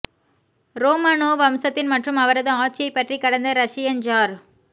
Romanov வம்சத்தின் மற்றும் அவரது ஆட்சியைப் பற்றி கடந்த ரஷியன் ஜார்